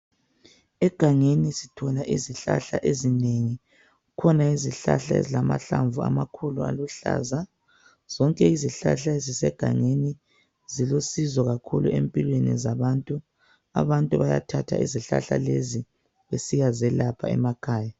Egangeni sithola izihlahla ezinengi, kukhona izihlahla ezilamahlamvu amakhulu aluhlaza. Zonke izihlahla ezisegangeni zilusizo kakhulu empilweni zabantu, abantu bayathatha izihlahla lezi besiya zelapha emakhaya.